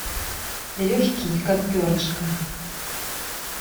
легкий как перышко